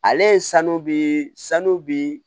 Ale ye sanu bi sanu bi